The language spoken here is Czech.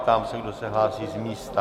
Ptám se, kdo se hlásí z místa.